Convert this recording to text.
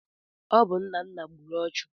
Ọ bụ Nnanna gburu ọchụ.